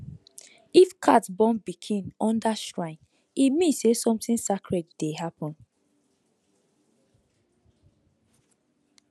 if cat born pikin under shrine e mean say something sacred dey happen